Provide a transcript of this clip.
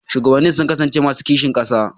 Shugabannin sun kasance masu kishin ƙasa.